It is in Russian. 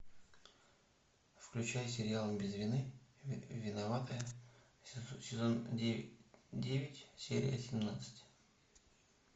включай сериал без вины виноватая сезон девять серия семнадцать